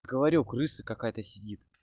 говорю крыса какая-то сидит